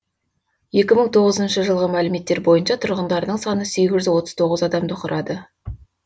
екі мың тоғызыншы жылғы мәліметтер бойынша тұрғындарының саны сегіз жүз отыз тоғыз адамды құрады